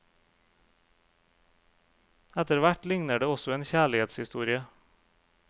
Etterhvert ligner det også en kjærlighetshistorie.